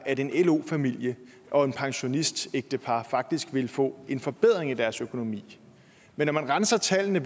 at en lo familie og et pensionistægtepar faktisk ville få en forbedring af deres økonomi men når man renser tallene